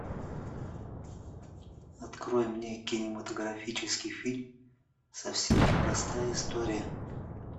открой мне кинематографический фильм совсем не простая история